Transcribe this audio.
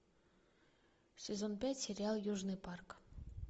сезон пять сериал южный парк